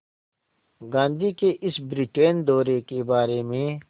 गांधी के इस ब्रिटेन दौरे के बारे में